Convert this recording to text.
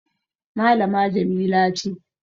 malama Jamila ce